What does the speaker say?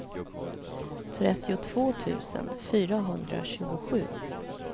trettiotvå tusen fyrahundratjugosju